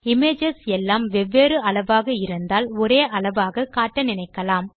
images எல்லாம் வெவ்வேறு அளவாக இருந்தால் ஒரே அளவாக காட்ட நினைக்கலாம்